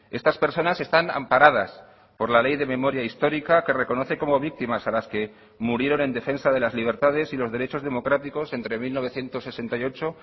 estas personas están amparadas por la ley de memoria histórica que reconoce como víctimas a las que murieron en defensa de las libertades y los derechos democráticos entre mil novecientos sesenta y ocho